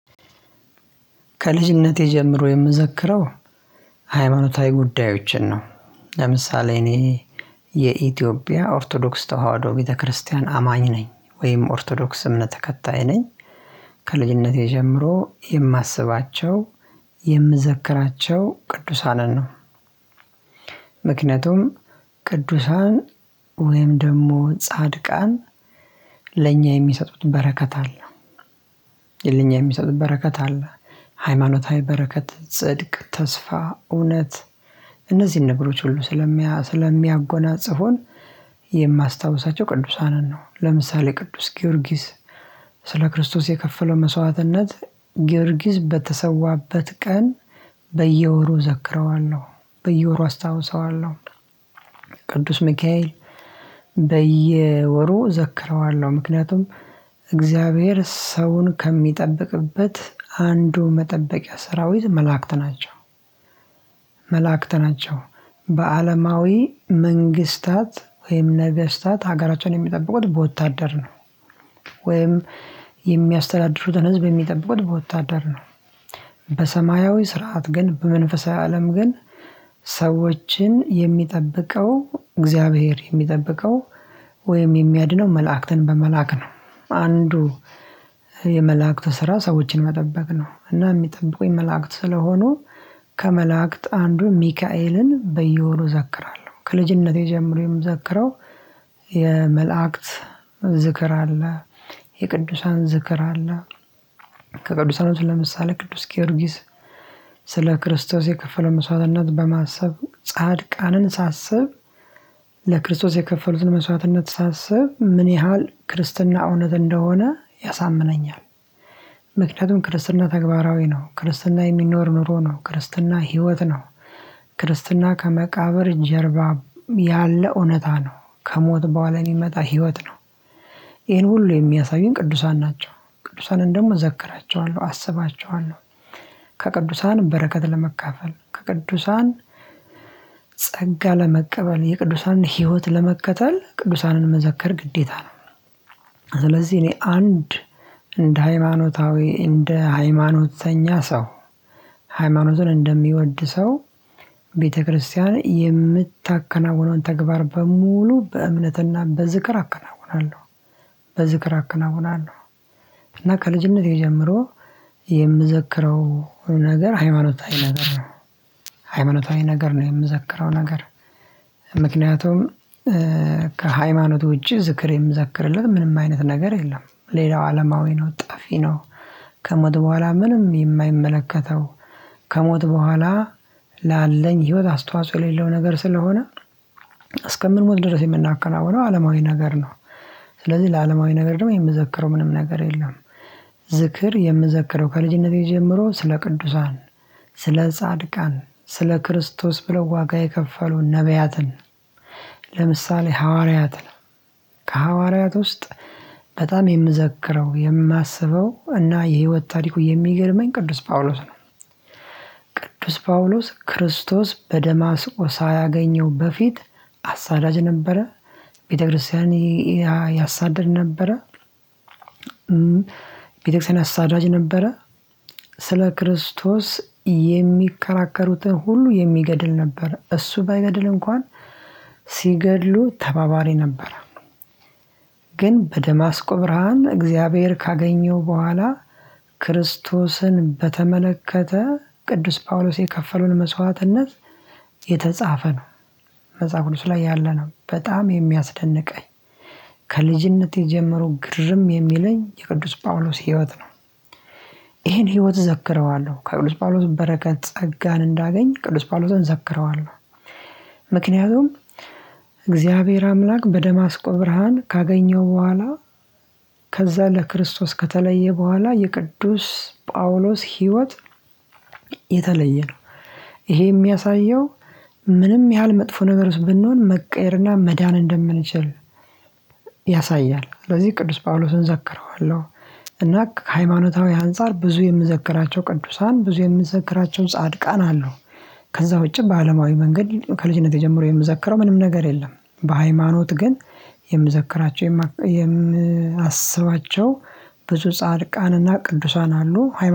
ከልጅነቴ ጀምሮ የምዘክረው ሃይማኖታዊ ጉዳዮችን ነው። ለምሳሌ እኔ የኢትዮጵያ ኦርቶዶክስ ተዋህዶ ቤተክርስቲያን አማኝ ነኝ ወይም ኦርቶዶክስ እምነት ተከታይ ነኝ። ከልጅነቴ ጀምሮ የማስባቸው የምዘክራቸው ቅዱሳንን ነው። ምክንያቱም ቅዱሳን ወይም ደግሞ ጻድቃን ለእኛ የሚሰጡት በረከት አለ። ለእኛ የሚሰጡት በረከት አለ። ሃይማኖታዊ በረከት ጽድቅ ተስፋ እውነት እነዚህን ነገሮች ሁሉ ስለሚያጎናጽፉን የማስታውሳቸው ቅዱሳንን ነው። ለምሳሌ ቅዱስ ጊዮርጊስ ስለ ክርስቶስ የከፈለው መስዋዕትነት ጊዮርጊስ በተሰዋበት ቀን በየወሩ ዘክረዋል ነው በየወሩ አስታውሰዋለሁ። ቅዱስ ሚካኤል በየወሩ ዘክረዋለሁ ምክንያቱም እግዚአብሔር ሰውን ከሚጠብቅበት አንዱ መጠበቂያ ሰራዊት መላእክት ናቸው። መላእክት ናቸው በአለማዊ መንግስታት ወይም ነገስታት ሀገራቸውን የሚጠብቁት በወታደር ነው። ወይም የሚያስተዳድሩትን ህዝብ የሚጠብቁት በወታደር ነው። በሰማያዊ ስርዓት ግን በመንፈሳዊ አለም ግን ሰዎችን የሚጠብቀው እግዚአብሔር የሚጠብቀው ወይም የሚያድነው መላእክትን በመላክ ነው። አንዱ የመላእክት ስራ ሰዎችን መጠበቅ ነው። እና የሚጠብቁኝ መላእክት ስለሆኑ ከመላእክት አንዱ ሚካኤልን በየሆኑ እዘግራለሁ ከልጅነቴ ጀምሮ የምዘክረው የመላእክት ዝክር አለ። የቅዱሳን ዝክር አለ። ከቅዱሳኖች ለምሳሌ ቅዱስ ጊዮርጊስ ስለ ክርስቶስ የከፈለው መስዋዕትነት በማሰብ ጻድቃንን ሳስብ ለክርስቶስ የከፈሉትን መስዋዕትነት ሳስብ ምን ያህል ክርስትና እውነት እንደሆነ ያሳምነኛል። ምክንያቱም ክርስትና ተግባራዊ ነው። ክርስትና የሚኖር ኑሮ ነው። ክርስትና ህይወት ነው። ክርስትና ከመቃብር ጀርባ ያለ እውነታ ነው። ከሞት በኋለ የሚመጣ ህይወት ነው። ይሄን ሁሉ የሚያሳይን ቅዱሳን ናቸው። ቅዱሳንን ደግሞ እዘክራቸዋለሁ አስባቸዋለሁ። ከቅዱሳን በረከት ለመካፈል ከቅዱሳን ጸጋ ለመቀበል የቅዱሳንን ህይወት ለመከተል ቅዱሳንን መዘከር ግዴታ ነው። ስለዚህ እኔ አንድ እንደ ሃይማኖታዊ እንደ ሃይማኖተኛ ሰው ሃይማኖቱን እንደሚወድ ሰው ቤተክርስቲያን የምታከናውኗን ተግባር በሙሉ በእምነትና በዝክር አከናውናለሁ። በዝክር አከናውናለሁ። ከልጅነቴ ጀምሮ የምዘክረው ነገር ሃይማኖታዊ ነገር ነው። ሃይማኖታዊ ነገር ነው የምዘክረው ነገር ምክንያቱም ከሃይማኖት ውጪ ዝክሬ የምዘክርለት ምንም አይነት ነገር የለም። ሌላው አለማዊ ነው ጠፌ ነው። ከሞት በኋላ ምንም የማይመለከተው ከሞት በኋላ ላለኝ ህይወት አስተዋጽኦ የሌለው ነገር ስለሆነ እስከምንሞት ድረስ የምናከናውነው አለማዊ ነገር ነው። ስለዚህ ለአለማዊ ነገር ደግሞ የምዘክረው ምንም ነገር የለም። ዝክር የምዘክረው ከልጅነቴ ጀምሮ ስለ ቅዱሳን ስለ ጻድቃን ስለ ክርስቶስ ብለው ዋጋ የከፈሉ ነብያትን ለምሳሌ ሐዋርያት ነው። ከሐዋርያት ውስጥ በጣም የምዘክረው የማስበው እና የህይወት ታሪኩ የሚገርመኝ ቅዱስ ጳውሎስ ነው። ቅዱስ ጳውሎስ ክርስቶስ በደማስቆ ሳያገኘው በፊት አሳዳጅ ነበረ። ቤተክርስቲያን ያሳድድ ነበረ። ቤተክርስቲያን አሳዳጅ ነበረ። ስለ ክርስቶስ የሚከራከሩትን ሁሉ የሚገድል ነበር እሱ ባይገድል እንኳን ሲገድሉ ተባባሪ ነበረ። ግን በደማስቆ ብርሃን እግዚአብሔር ካገኘው በኋላ ክርስቶስን በተመለከተ ቅዱስ ጳውሎስ የከፈሉን መስዋዕትነት የተጻፈ ነው። መጽሐፍ ቅዱስ ላይ ያለ ነው በጣም የሚያስደንቀኝ ከልጅነቴ ጀምሮ ግርም የሚለኝ የቅዱስ ጳውሎስ ህይወት ነው። ይሄን ህይወት እዘክረዋለሁ ከቅዱስ ጳውሎስ በረከት ጸጋን እንዳገኝ ቅዱስ ጳውሎስን ዘክረዋለሁ። ምክንያቱም እግዚአብሔር አምላክ በደማስቆ ብርሃን ካገኘው በኋላ ከዛ ለክርስቶስ ከተለየ በኋላ የቅዱስ ጳውሎስ ህይወት የተለየ ነው። ይሄ የሚያሳየው ምንም ያህል መጥፎ ነገር ብንሆን መቀየርና መዳን እንደምንችል። ያሳያል ስለዚህ ቅዱስ ጳውሎስን ዘክረዋለሁ። እና ከሃይማኖታዊ አንፃር ብዙ የምዘክራቸው ቅዱሳን ብዙ የምዘክራቸውን ጻድቃን አሉ። ከዛ ውጪ በአለማዊ መንገድ ከልጅነቴ ጀምሮ የምዘክረው ምንም ነገር የለም። በሃይማኖት ግን የምዘክራቸው የምአስባቸው ብዙ ጻድቃንና ቅዱሳን አሉ።